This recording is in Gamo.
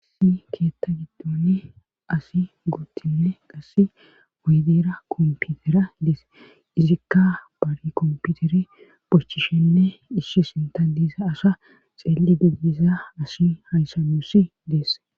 Asi keetta giddoni asi guttinne qasse oydeera komputera ideese izikka bari komputeri bochchishenne ishshi sinta diisa asha xeeli dudisa asi hayssan nusi deesse.